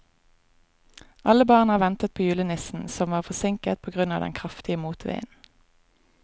Alle barna ventet på julenissen, som var forsinket på grunn av den kraftige motvinden.